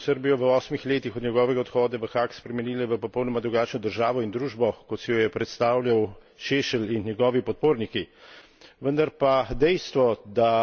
Ta je Šešlju že odgovorila s spremembami, ki so Srbijo v osmih letih od njegovega odhoda v Haag spremenile v popolnoma drugačno državo in družbo, kot si jo je predstavljal Šešelj in njegovi podporniki.